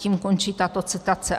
Tím končí tato citace.